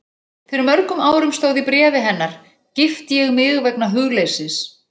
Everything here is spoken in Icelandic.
Fyrir mörgum árum stóð í bréfi hennar, gifti ég mig vegna hugleysis.